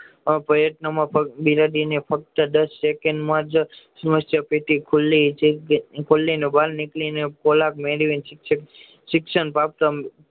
પ્રયત્ન માં પગ બિલાડી ને ફક્ત દસ સેકન્ડ માં જ પેટી ખુલી જ બાર નીકળી ને ખોરાક મેળવીને શિક્ષક શિક્ષણ